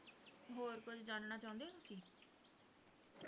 ਹੋਰ ਕੁਝ ਜਾਣਨਾ ਚਾਹੁੰਦੇ ਹੋਣ ਤੁਸੀਂ